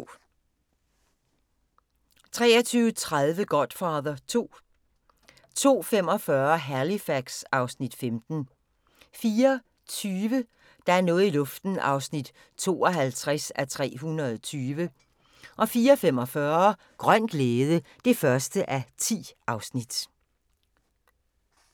23:30: Godfather II 02:45: Halifax (Afs. 15) 04:20: Der er noget i luften (52:320) 04:45: Grøn glæde (1:10)